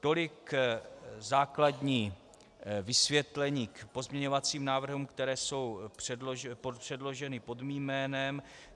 Tolik základní vysvětlení k pozměňovacím návrhům, které jsou předloženy pod mým jménem.